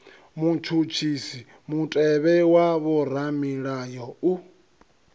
vhutshutshisi mutevhe wa vhoramilayo u